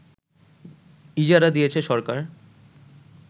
ইজারা দিয়েছে সরকার